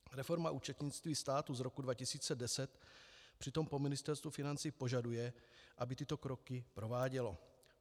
Reforma účetnictví státu z roku 2010 přitom po Ministerstvu financí požaduje, aby tyto kroky provádělo.